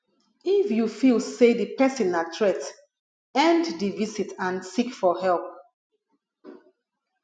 if you feel sey di person na threat end di visit and seek for help